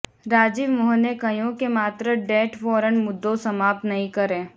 રાજીવ મોહને કહ્યું કે માત્ર ડેથ વોરંટ મુદ્દો સમાપ્ત નહીં કરે